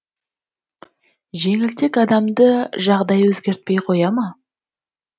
жеңілтек адамды жағдай өзгертпей қоя ма